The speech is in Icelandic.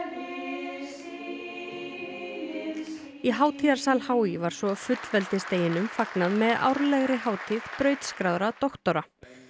í hátíðarsal h í var svo fullveldisdeginum fagnað með árlegri hátíð brautskráðra doktora